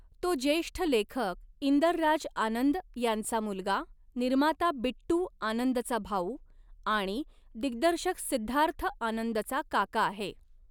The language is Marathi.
तो ज्येष्ठ लेखक इंदर राज आनंद यांचा मुलगा, निर्माता बिट्टू आनंदचा भाऊ आणि दिग्दर्शक सिद्धार्थ आनंदचा काका आहे.